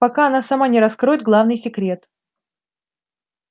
пока она сама не раскроет главный секрет